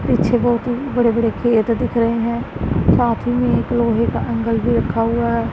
पीछे बहुत ही बड़े बड़े खेत दिख रहे हैं साथ में एक लोहे का एंगल भी रखा हुआ है।